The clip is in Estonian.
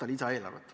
Aitäh!